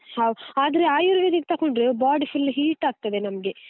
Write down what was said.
How ಆದ್ರೆ ayurvedic ತಗೊಂಡ್ರೆ body full heat ಆಗ್ತದೆ ನಮ್ಗೆ.